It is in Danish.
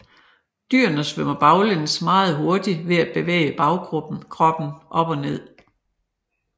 Dyrene svømmer baglæns meget hurtigt ved at bevæge bagkroppen op og ned